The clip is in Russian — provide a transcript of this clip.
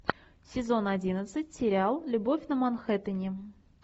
сезон одиннадцать сериал любовь на манхэттене